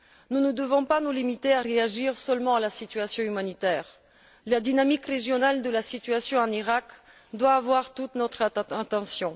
Nous ne devons pas nous limiter à réagir seulement à la situation humanitaire. La dynamique régionale de la situation en Iraq doit avoir toute notre attention.